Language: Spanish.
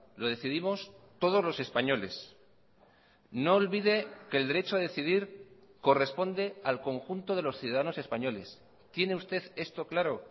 lo decidimos todos los españoles no olvide que el derecho a decidir corresponde al conjunto de los ciudadanos españoles tiene usted esto claro